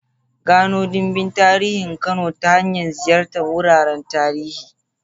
Gano dimbin tarihin Kano ta hanyar ziyartar wuraren tarihi.